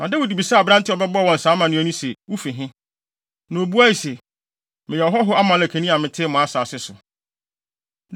Na Dawid bisaa aberante a ɔbɛbɔɔ wɔn saa amanneɛ no se, “Wufi he?” Na obuae se, “Meyɛ ɔhɔho Amalekni a mete mo asase so.”